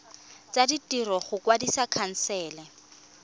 tsa ditiro go kwadisa khansele